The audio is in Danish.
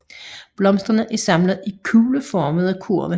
Blomsterne er samlet i kugleformede kurve